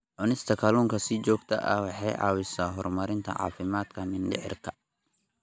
Cunista kalluunka si joogto ah waxay caawisaa horumarinta caafimaadka mindhicirka.